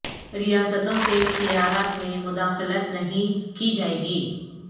ریاستوں کے اختیارات میں مداخلت نہیں کی جائے گی